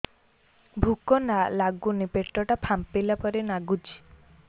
ଭୁକ ଲାଗୁନି ପେଟ ଟା ଫାମ୍ପିଲା ପରି ନାଗୁଚି